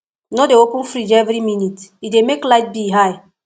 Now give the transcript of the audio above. no dey open fridge every minute e dey make light bill high